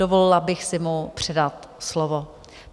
Dovolila bych si mu předat slovo.